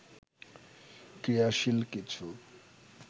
ক্রিয়াশীল কিছু